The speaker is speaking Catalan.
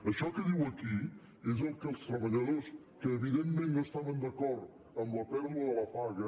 això que diu aquí és el que els treballadors que evidentment no estaven d’acord amb la pèrdua de la paga